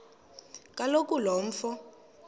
kaloku lo mfo